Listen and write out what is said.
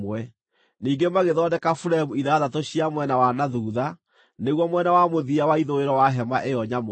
Ningĩ magĩthondeka buremu ithathatũ cia mwena wa na thuutha, nĩguo mwena wa mũthia wa ithũĩro wa hema ĩyo nyamũre,